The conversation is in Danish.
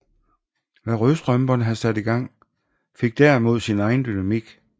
Hvad Rødstrømperne havde sat i gang fik derimod sin egen dynamik